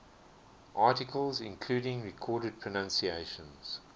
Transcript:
articles including recorded pronunciations